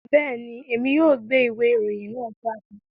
Bẹẹni, Èmi yóò gbé ìwé ìròyìn náà jáde